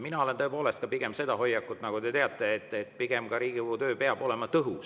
Mul on tõepoolest ka pigem see hoiak, nagu te teate, et Riigikogu töö peab olema tõhus.